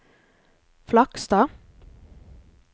Flakstad